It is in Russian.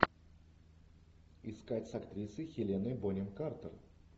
искать с актрисой хеленой бонем картер